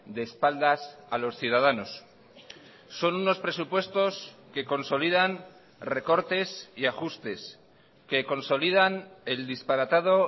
de espaldas a los ciudadanos son unos presupuestos que consolidan recortes y ajustes que consolidan el disparatado